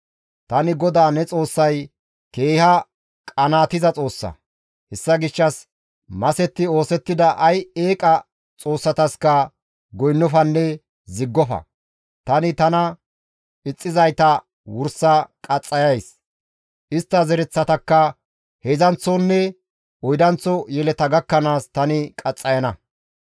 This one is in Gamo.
Tani GODAA ne Xoossay keeha qanaatiza Xoossa; hessa gishshas masetti oosettida ay eeqa xoossataska goynnofanne ziggofa; tani tana ixxizayta wursa qaxxayays; istta zereththatakka heedzdzanththonne oydanththo yeleta gakkanaas tani qaxxayana.